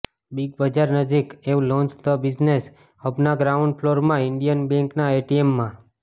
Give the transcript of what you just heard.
Big Bazaar નજીક Avalons the business હબના ground ફલોરમાં ઇન્ડિયન બેંકના એટીએમમાં